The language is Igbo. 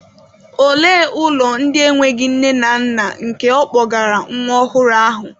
Olee ụlọ ndị enweghị nne na nna nke ọ kpọgara nwa ọhụrụ ahụ?